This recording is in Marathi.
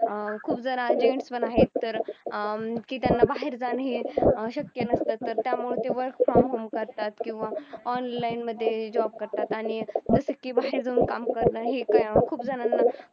अं खूप जरा gents पण आहेत अं तर की त्यांना बाहेर जाणे अशक्य नसतं work from home करतात किंवा online मध्ये job करतात आणि बाहेर जाऊन काम करण ही खूप जणांना